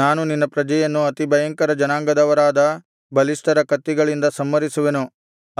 ನಾನು ನಿನ್ನ ಪ್ರಜೆಯನ್ನು ಅತಿಭಯಂಕರ ಜನಾಂಗದವರಾದ ಬಲಿಷ್ಠರ ಕತ್ತಿಗಳಿಂದ ಸಂಹರಿಸುವೆನು